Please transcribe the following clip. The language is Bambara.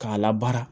K'a labaara